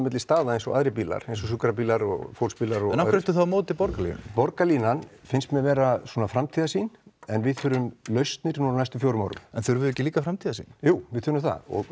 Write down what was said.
milli staða eins og aðrir bílar sjúkrabílar og fólksbílar af hverju ertu þá á móti Borgarlínu borgarlínan finnst mér vera svona framtíðarsýn en við þurfum lausnir núna á næstu fjórum árum en þurfum við ekki líka framtíðarsýn jú við þurfum það og